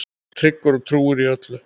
Tryggur og trúr í öllu.